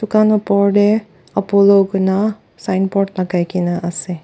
tan opor tey apollo koina signboard lagai kena ase.